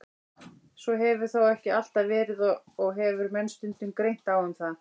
Svo hefur þó ekki alltaf verið og hefur menn stundum greint á um það.